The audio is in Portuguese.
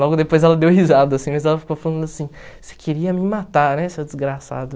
Logo depois ela deu risada, assim, mas ela ficou falando assim, você queria me matar, né, seu desgraçado?